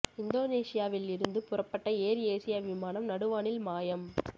இந்தோனேஷியாவில் இருந்து புறப்பட்ட ஏர் ஏசியா விமானம் நடு வானில் மாயம்